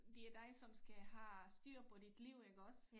Det er dig som skal have styr på dit liv iggås